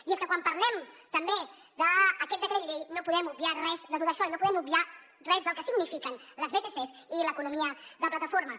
i és que quan parlem també d’aquest decret llei no podem obviar res de tot això i no podem obviar res del que signifiquen les vtcs i l’economia de plataforma